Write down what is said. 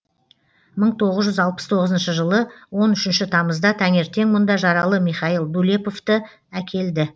мың тоғыз жүз алпыс тоғызыншы жылы он үшінші тамызда таңертең мұнда жаралы михаил дулеповті әкелді